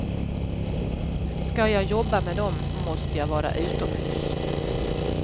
Ska jag jobba med dem måste jag vara utomhus.